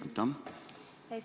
Aitäh!